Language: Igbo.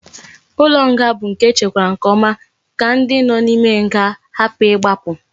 Ulo nga bu nke echekwara nke oma ka ndi no na ime nga hapu igbapu